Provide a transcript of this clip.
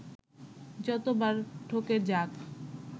যত বার ঠকে যাক